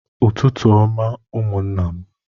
Ụtụtụ ọma ụmụńnà m